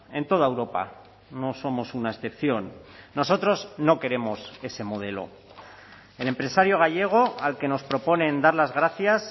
en toda europa no somos una excepción nosotros no queremos ese modelo el empresario gallego al que nos proponen dar las gracias